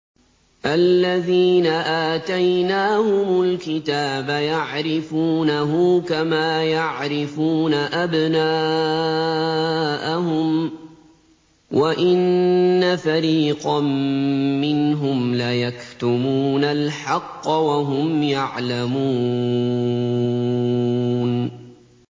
الَّذِينَ آتَيْنَاهُمُ الْكِتَابَ يَعْرِفُونَهُ كَمَا يَعْرِفُونَ أَبْنَاءَهُمْ ۖ وَإِنَّ فَرِيقًا مِّنْهُمْ لَيَكْتُمُونَ الْحَقَّ وَهُمْ يَعْلَمُونَ